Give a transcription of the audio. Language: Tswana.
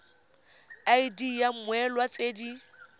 id ya mmoelwa tse di